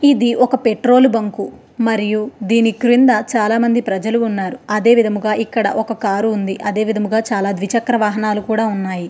ఇది ఒక petrol bunk మరియు దీనికింద చాలా మంది ప్రజలు ఉన్నారు. అదే విధముగా ఇక్కడ ఒక కార్ ఉంది. అదే విధముగా చాలా ద్విచక్ర వాహనాలు కూడా ఉన్నాయి.